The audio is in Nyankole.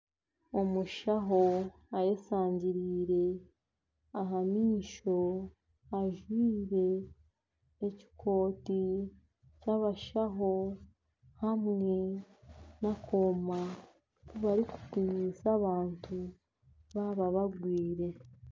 Omushaho ayeshangiriire aha maisho ajwaire ekikooti ky'abashaho hamwe n'akooma ku barikupimisa abantu baaba barwaire.